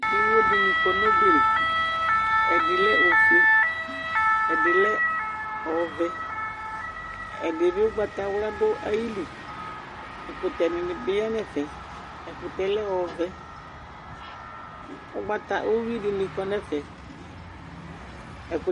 iɣo dini kɔ nu ɔbɛ li ɛdi lɛ ofoe ɛdi lɛ ɔvɛ ɛdi bi ugbata ɣla du iyili ɛkutɛ dini bi du ɛvɛ ɛkutɛ lɛ ɔvɛuhui dini bi du ɛfɛ